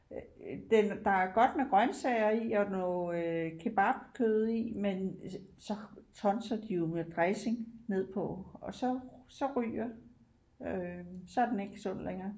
Øh den der er godt med grøntsager i og noget øh kebabkød i men så så tonser de jo med dressing med på og så så ryger øh så er den ikke sund længere